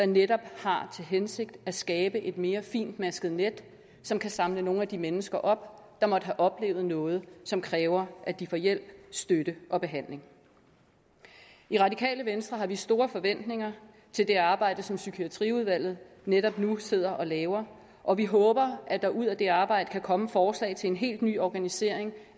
netop har til hensigt at skabe et mere fintmasket net som kan samle nogle af de mennesker op der måtte have oplevet noget som kræver at de får hjælp støtte og behandling i radikale venstre har vi store forventninger til det arbejde som psykiatriudvalget netop nu sidder og laver og vi håber at der ud af det arbejde kan komme forslag til en helt ny organisering